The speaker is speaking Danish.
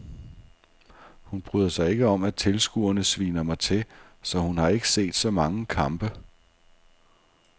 Hun bryder sig ikke om at tilskuerne sviner mig til, så hun har ikke set så mange kampe.